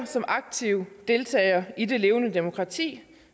som aktive deltagere i det levende demokrati